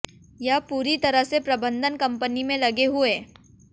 यह पूरी तरह से प्रबंधन कंपनी में लगे हुए